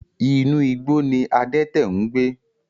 Inú igbó ní adẹ́tẹ̀ ń gbẹ